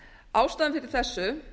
ástæðan fyrir þessu